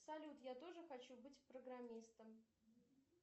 салют я тоже хочу быть программистом